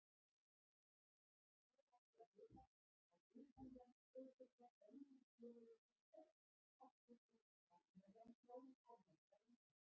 Svo átti að heita, að utanlandsdeildirnar bönnuðu félögum sínum öll afskipti af innanlandsmálum erlendra ríkja.